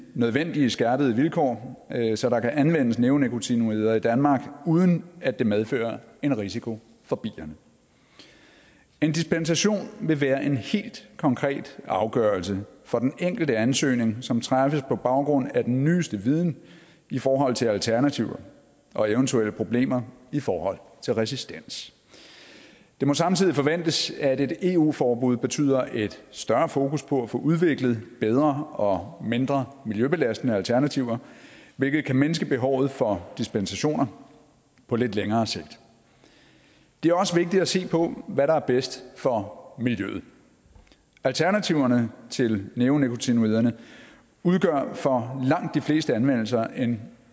nødvendige skærpede vilkår så der kan anvendes neonikotinoider i danmark uden at det medfører en risiko for bierne en dispensation vil være en helt konkret afgørelse for den enkelte ansøgning som træffes på baggrund af den nyeste viden i forhold til alternativer og eventuelle problemer i forhold til resistens det må samtidig forventes at et eu forbud betyder et større fokus på at få udviklet bedre og mindre miljøbelastende alternativer hvilket kan mindske behovet for dispensationer på lidt længere sigt det er også vigtigt at se på hvad der er bedst for miljøet alternativerne til neonikotinoiderne udgør for langt de fleste anvendelser en